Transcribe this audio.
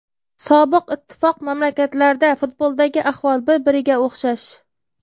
Sobiq Ittifoq mamlakatlarida futboldagi ahvol bir-biriga o‘xshash.